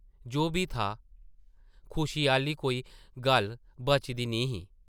जो बी था, खुशी आह्ली कोई गल्ल बची दी निं ही ।